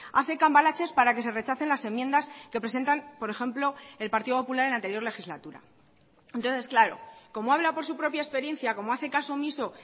hace cambalaches para que se rechacen las enmiendas que presentan por ejemplo el partido popular en la anterior legislatura entonces claro como habla por su propia experiencia como hace caso omiso